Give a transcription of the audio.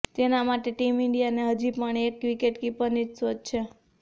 તેના માટે ટીમ ઈન્ડિયાને હજી પણ એક વિકેટકીપરની જ શોધ છે